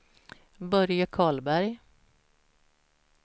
Börje Karlberg